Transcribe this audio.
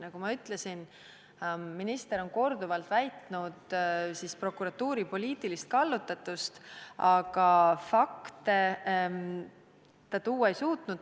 Nagu ma ütlesin, minister on korduvalt väitnud, et prokuratuur on poliitiliselt kallutatud, aga fakte ta tuua ei suutnud.